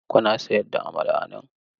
Kuna sayar da amala a nan?